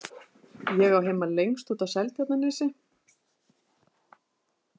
Ég á heima lengst úti á Seltjarnarnesi.